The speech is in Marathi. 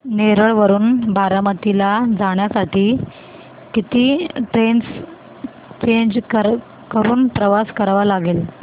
नेरळ वरून बारामती ला जाण्यासाठी किती ट्रेन्स चेंज करून प्रवास करावा लागेल